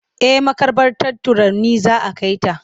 Eh maƙabartar Tarauni za a kai ta.